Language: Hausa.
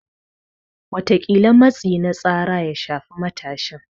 Wataƙila matsi na tsara ya shafe matashin.